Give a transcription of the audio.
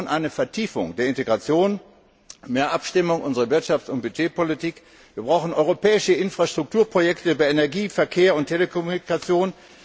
Wir brauchen eine Vertiefung der Integration, mehr Abstimmung unserer Wirtschafts und Budget Politik, wir brauchen europäische Infrastrukturprojekte in den Bereichen Energie, Verkehr und Telekommunikation.